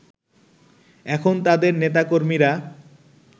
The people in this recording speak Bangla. এখন তাদের নেতাকর্মীরা